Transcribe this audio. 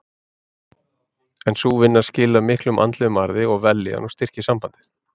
En sú vinna skilar miklum andlegum arði og vellíðan og styrkir sambandið.